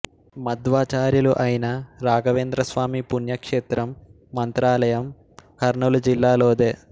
మధ్వాచార్యులు అయిన రాఘవేంద్ర స్వామి పుణ్యక్షేత్రం మంత్రాలయం కర్నూలు జిల్లాలోదే